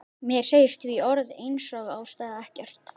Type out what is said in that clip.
Mér segir því orð einsog ástæða ekkert.